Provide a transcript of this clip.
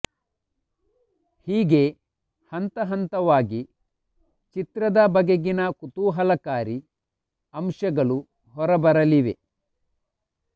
ಹೀಗೆ ಹಂತಹಂತವಾಗಿ ಚಿತ್ರದ ಬಗೆಗಿನ ಕುತೂಹಲಕಾರಿ ಅಂಶಗಳು ಹೊರ ಬರಲಿವೆ